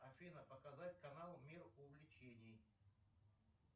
афина показать канал мир увлечений